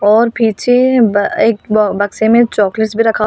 और पीछे एक बक्से में चॉकलेट भी रखा हुआ--